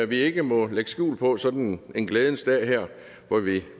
vi ikke må lægge skjul på sådan en glædens dag her hvor vi